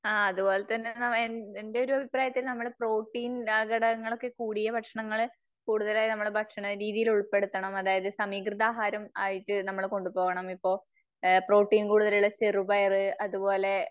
ആ അത്പോലെ തന്നെ എന്റെ ഒരു അഭിപ്രായത്തിൽ നമ്മള് പ്രോട്ടീൻ ആ ഘടകങ്ങളൊക്കെ കൂടിയ ഭക്ഷണങ്ങള് കൂടുതലായി നമ്മളെ ഭക്ഷണ രീതിയില് ഉൾപ്പെടുത്തണം. അതായത് സമീകൃത ആഹാരം ആയിട്ട് നമ്മള് കൊണ്ടുപോകണം. ഇപ്പോ പ്രോട്ടീൻ കൂടുതലുള്ള ചെറുപയർ അതുപോലെ